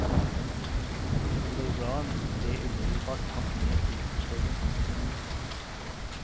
Mor og barn ble umiddelbart tatt med til bostedet.